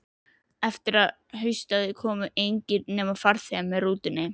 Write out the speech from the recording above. Eftir að haustaði komu engir, nema farþegar með rútunni.